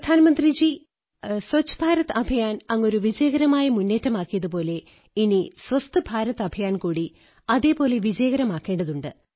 പ്രധാനമന്ത്രിജീ സ്വച്ഛഭാരത് അഭിയാൻ അങ്ങൊരു വിജയകരമായ മുന്നേറ്റമാക്കിയതുപോലെ ഇനി സ്വസ്ഥ് ഭാരത് അഭിയാൻ കൂടി അതേപോലെ വിജയകരമാക്കേണ്ടതുണ്ട്